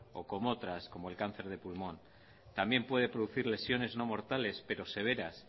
o como otras como el cáncer de pulmón también puede producir lesiones no mortales pero severas